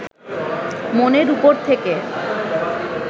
মনের উপর থেকে